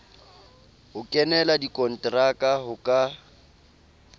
ho kenela dikonteraka ho ka